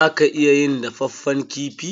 Za ka iya yin dafaffen kifi.